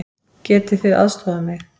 Getið þið aðstoðað mig?